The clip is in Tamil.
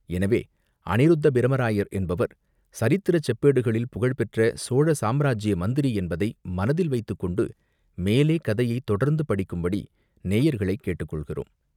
எனவே, அநிருத்த பிரமராயர் என்பவர் சரித்திரச் செப்பேடுகளில் புகழ் பெற்ற சோழ சாம்ராஜ்ய மந்திரி என்பதை மனத்தில் வைத்துக்கொண்டு மேலே கதையைத் தொடர்ந்து படிக்குபடி நேயர்களைக் கேட்டுக்கொள்கிறோம்.